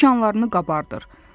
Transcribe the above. Tikanlarını qabardır.